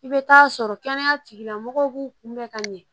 I bɛ taa sɔrɔ kɛnɛya tigilamɔgɔw b'u kunbɛn ka ɲɛ